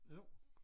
Jo